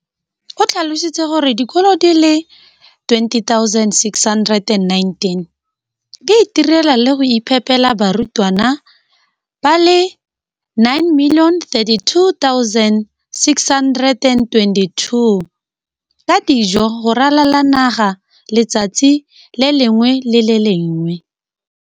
o tlhalositse gore dikolo di le 20 619 di itirela le go iphepela barutwana ba le 9 032 622 ka dijo go ralala naga letsatsi le lengwe le le lengwe.